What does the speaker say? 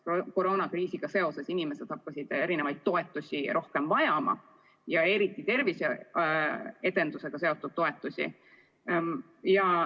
Koroonakriisiga seoses inimesed hakkasid toetusi rohkem vajama, eriti aga tervise edendamisega seotud toetusi.